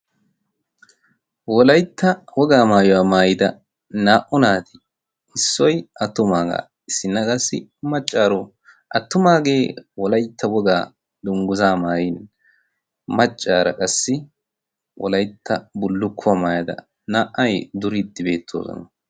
wolaytta wogaa maayuwaa maayida naa"u naati issoy attumaagaa isinna qassi maccaaro attumaagee wolaytta wogaa dunggusa maayin maccaara qassi wolaytta bullukkuwaa maayada naa"ay duriiddi beettoosona.